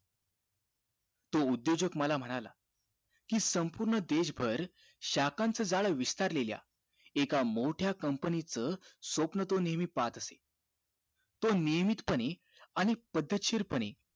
तो उद्योजक मला म्हणाला कि संपूर्ण देश भर शाखांचा जल विस्तरलेल्या एका मोठ्या company च स्वप्न तो नेहमी पाहत असे तो नियमित पणे आणि पद्धतशीर पणे